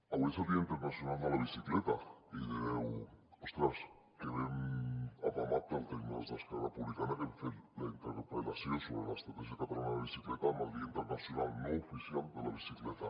avui és el dia internacional de la bicicleta i direu ostres que ben apamat tenen el tema els d’esquerra republicana que han fet la interpel·lació sobre l’estratègia catalana de la bicicleta el dia internacional no oficial de la bicicleta